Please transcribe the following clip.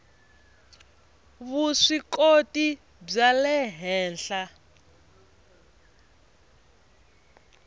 vuswikoti bya le henhla